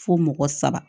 Fo mɔgɔ saba